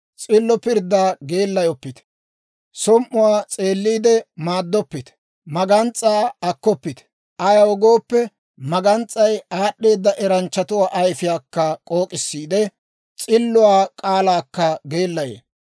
S'illo pirddaa geellayoppite; som"uwaa s'eelliide maaddoppite. Magans's'aa akkoppite; ayaw gooppe, magans's'ay aad'd'eeda eranchchatuwaa ayfiyaakka k'ook'issiide, s'illotuwaa k'aalaakka geellayee.